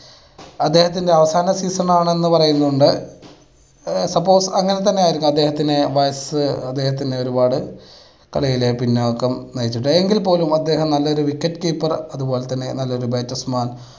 അദ്ദേഹത്തിൻ്റെ അവസാന season ആണെന്ന് പറയുന്നുണ്ട്. suppose അങ്ങനെ തന്നെയായിരിക്കാം അദ്ദേഹത്തിന് വയസ്സ് അദ്ദേഹത്തിന് ഒരുപാട് കളിയിൽ പിന്നോക്കം നയിച്ചു, എങ്കിൽ പോലും അദ്ദേഹം നല്ലൊരു wicket keeper അത് പോലെ തന്നെ നല്ലൊരു batsman